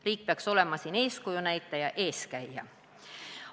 Riik peaks olema siin eeskuju näitaja, eeskäija.